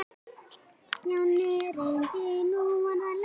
Stjáni reyndi nú aðra leið.